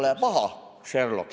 Pole paha, Sherlock!